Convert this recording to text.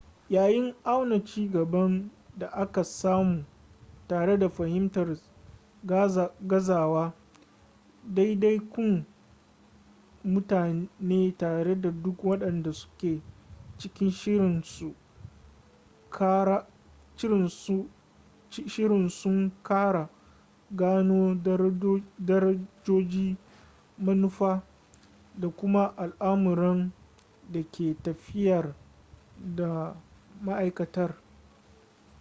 yayin auna cigaban da aka samu tare da fahimtar gazawa ɗaiɗaikun mutane tare da duk waɗanda suke cikin shirin sun ƙara gano darajoji manufa da kuma al'amuran da ke tafiyar da ma'aikatar